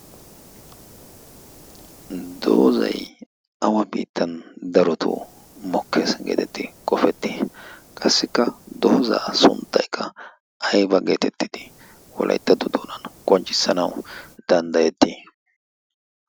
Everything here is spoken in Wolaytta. Doozay awa biittan daroto mokkees geetetti qofetti? Qassikka doozaa sunttaykka ayba geetettidi wolayttatto doonan qonccissanawu danddayetti?